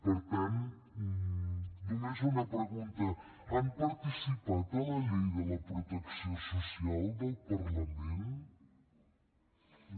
per tant només una pregunta han participat a la llei de la protecció social del parlament no